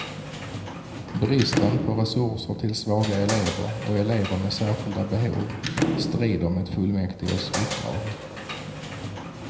Bristen på resurser till svaga elever och elever med särskilda behov strider mot fullmäktiges uppdrag.